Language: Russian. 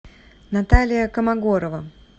наталия комогорова